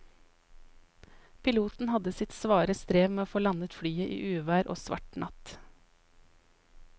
Piloten hadde sitt svare strev med å få landet flyet i uvær og svart natt.